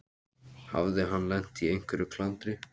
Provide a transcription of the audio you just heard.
Hafði hann lent í einhverju klandri?